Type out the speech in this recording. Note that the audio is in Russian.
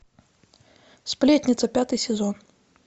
сплетница пятый сезон